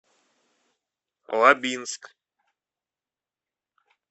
лабинск